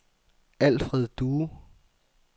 Alfred Due